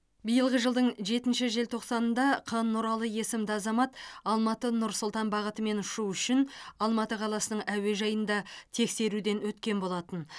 биылғы жылдың жетінші желтоқсанында қ нұралы есімді азамат алматы нұр сұлтан бағытымен ұшу үшін алматы қаласының әуежайында тексеруден өткен болатын